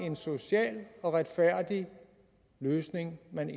en social og retfærdig løsning man